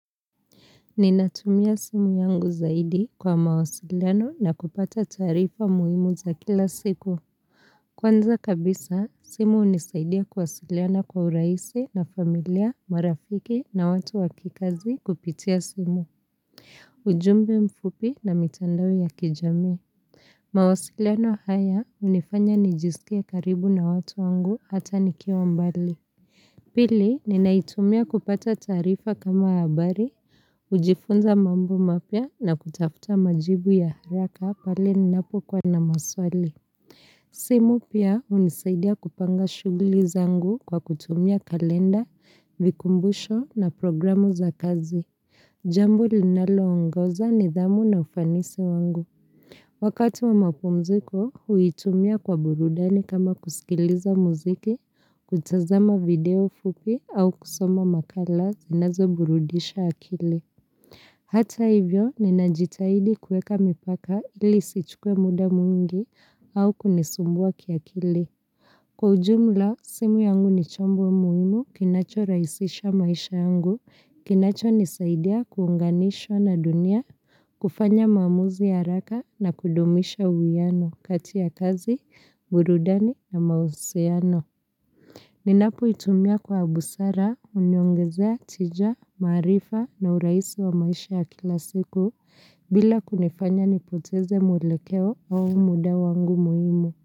Ninatumia simu yangu zaidi kwa mawasiliano na kupata taarifa muhimu za kila siku. Kwanza kabisa, simu hunisaidia kuwasiliana kwa uraisi na familia, marafiki na watu wakikazi kupitia simu. Ujumbe mfupi na mitandao ya kijamii. Mawasiliano haya hunifanya nijisikie karibu na watu wangu hata nikiwa mbali. Pili ninaitumia kupata tarifa kama habari, kujifunza mambo mapya na kutafuta majibu ya haraka pale ninapo kwa na maswali. Simu pia hunisaidia kupanga shuguli zangu kwa kutumia kalenda, vikumbusho na programu za kazi. Jambo linalo ongoza nidhamu na ufanisi wangu. Wakati wa mapumziko, huitumia kwa burudani kama kusikiliza muziki, kutazama video fupi au kusoma makala zinazo burudisha akili. Hata hivyo, ninajitahidi kueka mipaka ili isichukue muda mwingi au kunisumbua kiakili. Kwa ujumla, simu yangu ni chombo muhimu kinacho rahisisha maisha yangu, kinacho nisaidia kuunganishwa na dunia, kufanya maamuzi ya haraka na kudumisha uwiano kati ya kazi, burudani na mahusiano. Ninapo itumia kwa busara, huniongezea tija, maarifa na uraisi wa maisha ya kila siku, bila kunifanya nipoteze mwelekeo au muda wangu muhimu.